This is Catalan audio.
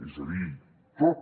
és a dir tot